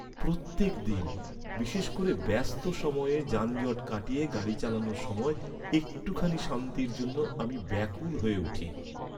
প্রত্যেক দিন, বিশেষ করে ব্যস্ত সময়ে যানজট কাটিয়ে গাড়ি চালানোর সময়, একটুখানি শান্তির জন্য আমি ব্যাকুল হয়ে উঠি।